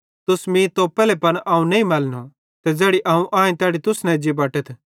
तुस मीं तोप्पेले पन अवं नईं मैलनो ते ज़ैड़ी अवं आईं तैड़ी तुस न एज्जी बटथ